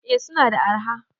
eh suna da arha